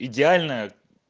идеальная